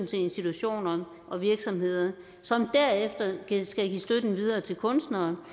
til institutioner og virksomheder som derefter skal give støtten videre til kunstnere